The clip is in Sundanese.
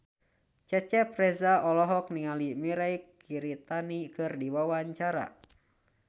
Cecep Reza olohok ningali Mirei Kiritani keur diwawancara